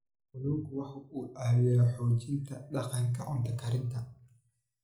Kalluunku waxa uu caawiyaa xoojinta dhaqanka cunto karinta.